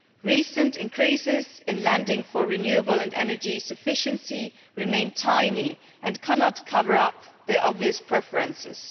Recent increases in lending for renewable and energy sufficiency remain tiny and cannot cover up the obvious preferences.